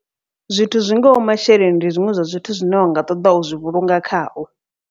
Zwithu zwi ngaho masheleni ndi zwiṅwe zwa zwithu zwine unga ṱoḓa uzwi vhulunga khao.